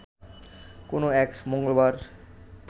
কোনো এক মঙ্গলবার